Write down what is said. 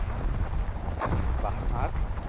বাহ আর